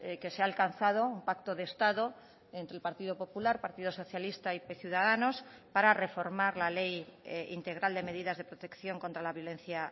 que se ha alcanzado un pacto de estado entre el partido popular partido socialista y ciudadanos para reformar la ley integral de medidas de protección contra la violencia